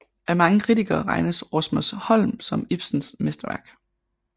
Af mange kritikere regnes Rosmersholm som Ibsens mesterværk